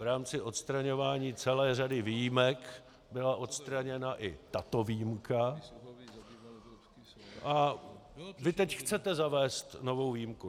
V rámci odstraňování celé řady výjimek byla odstraněna i tato výjimka a vy teď chcete zavést novou výjimku.